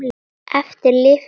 Eftir lifir amma, hans besta.